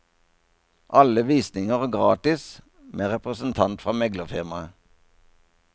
Alle visninger gratis med representant fra meglerfirmaet.